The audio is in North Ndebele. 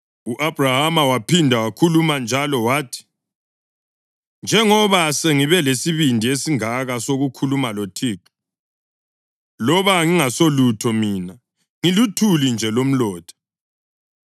U-Abhrahama waphinda wakhuluma njalo wathi: “Njengoba sengibe lesibindi esingaka sokukhuluma loThixo, loba ngingasulutho mina, ngiluthuli nje lomlotha,